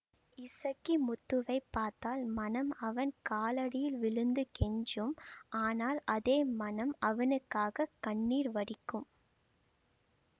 இசக்கிமுத்துவைப் பார்த்தால் மனம் அவன் காலடியில் விழுந்து கெஞ்சும் ஆனால் அதே மனம் அவனுக்காகக் கண்ணீர் வடிக்கும்